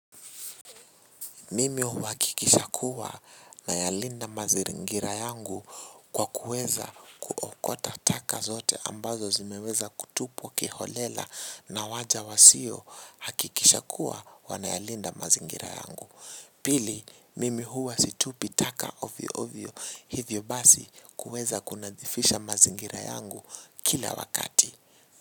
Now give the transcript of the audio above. Mimi huwakikisha kuwa nayalinda mazingira yangu kwa kuweza kuokota taka zote ambazo zimeweza kutupwa kiholela na waja wasiohakikisha kuwa wanayalinda mazingira yangu. Pili, mimi huwa situpi taka ovyo ovyo hivyo basi kuweza kunadhifisha mazingira yangu kila wakati.